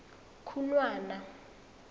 khunwana